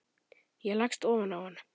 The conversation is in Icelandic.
Ég leggst ofan á hann.